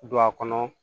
Don a kɔnɔ